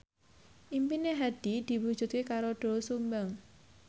impine Hadi diwujudke karo Doel Sumbang